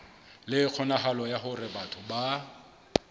le kgonahalo ya hore batho